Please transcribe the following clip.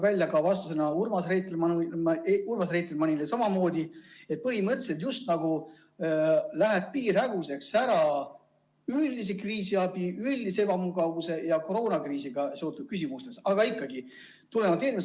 Ka vastusest Urmas Reitelmannile tuli välja samamoodi, et põhimõtteliselt just nagu läheb piir häguseks üldise kriisiabi, üldise ebamugavuse ja koroonakriisiga seotud küsimuste vahel.